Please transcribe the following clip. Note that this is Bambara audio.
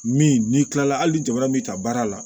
Min n'i kila la hali jamana min ta baara la